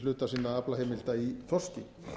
hluta sinna aflaheimilda í þorski